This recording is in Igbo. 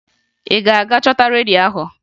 Ị ga-aga chọta redio ahụ!